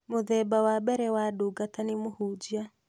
Mũthemba wa mbere wa ndungata nĩ mũhunjia